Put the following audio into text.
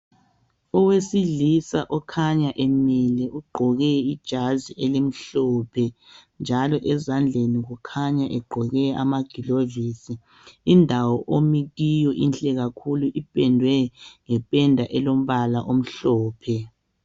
owesilisa okhanya emile ugqoke ijazi elimhlophe njalo ezandleni kukhanya egqoke amagilovisi indawo omi kiyo inhle kakhulu ipendwe ngependa elombala omhlophe